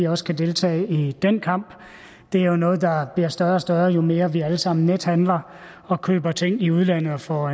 også kan deltage i den kamp det er jo noget der bliver større og større jo mere vi alle sammen nethandler og køber ting i udlandet og får